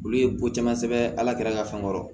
Olu ye ko caman sɛbɛn ala k'an ka fɛnw kɔrɔ